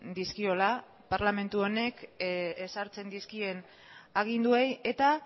dizkiola parlamentu honek ezartzen dizkien aginduei eta